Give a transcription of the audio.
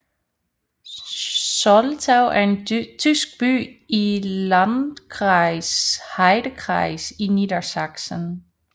Soltau er en tysk by i Landkreis Heidekreis i Niedersachsen